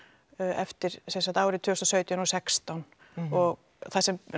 eftir árið tvö þúsund og sautján og sextán og það sem